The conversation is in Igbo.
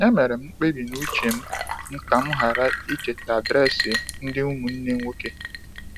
E mere m mkpebi n’uche m m ka m ghara icheta adresị ndị ụmụnne nwoke.